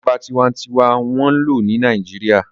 Ìjọba tinwatinwa n wọ́n lò ní Nàìjíríyà